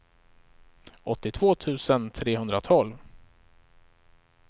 åttiotvå tusen trehundratolv